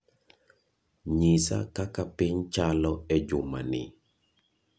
nyisa kaka piny chalo e juma ni